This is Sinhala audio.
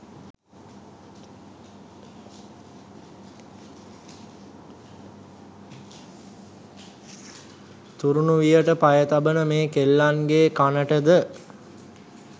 තුරුණු වියට පය තබන මේ කෙල්ලන්ගේ කනටද